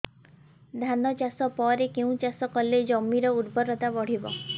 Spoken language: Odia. ଧାନ ଚାଷ ପରେ କେଉଁ ଚାଷ କଲେ ଜମିର ଉର୍ବରତା ବଢିବ